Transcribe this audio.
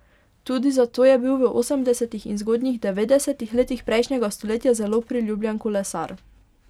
Tudi zato je bil v osemdesetih in zgodnjih devetdesetih letih prejšnjega stoletja zelo priljubljen kolesar.